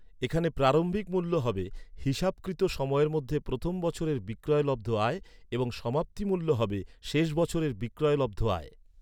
এখানে প্রারম্ভিক মূল্য হবে হিসাবকৃত সময়ের মধ্যে প্রথম বছরের বিক্রয়লব্ধ আয় এবং সমাপ্তি মূল্য হবে শেষ বছরের বিক্রয়লব্ধ আয়।